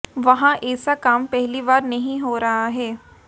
वहां एेसा काम पहली बार नहीं हो रहा है